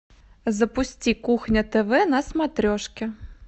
запусти кухня тв на смотрешке